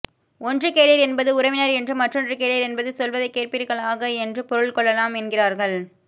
ஒன்று கேளீர் என்பது உறவினர் என்றும் மற்றொன்று கேளீர் என்பது சொல்வதைக் கேட்பீர்களாக என்றும் பொருள் கொள்ளலாம் என்கிறார்கள்